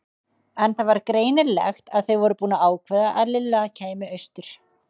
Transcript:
En það var greinilegt að þau voru búin að ákveða að Lilla kæmi austur.